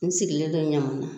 N sigilendon Ɲamana